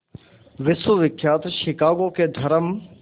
विश्वविख्यात शिकागो के धर्म